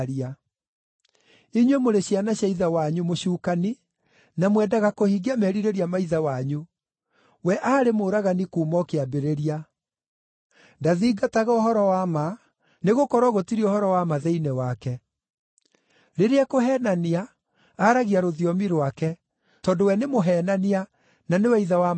Inyuĩ mũrĩ ciana cia ithe wanyu, Mũcukani, na mwendaga kũhingia merirĩria ma ithe wanyu. We aarĩ mũũragani kuuma o kĩambĩrĩria. Ndathingataga ũhoro wa ma, nĩgũkorwo gũtirĩ ũhoro wa ma thĩinĩ wake. Rĩrĩa ekũheenania, aaragia rũthiomi rwake, tondũ we nĩ mũheenania, na nĩwe ithe wa maheeni.